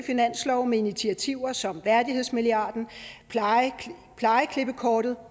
finanslove med initiativer som værdighedsmilliarden plejeklippekortet